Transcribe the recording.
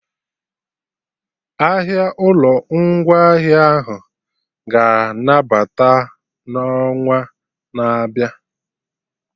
Ahịa ụlọ ngwaahịa ahụ ga-anabata n'onwa na-abịa